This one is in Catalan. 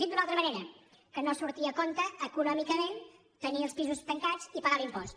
dit d’una altra manera que no surti a compte econòmicament tenir els pisos tancats i pagar l’impost